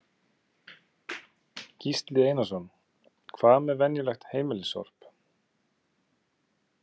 Gísli Einarsson: Hvað með venjulegt heimilissorp?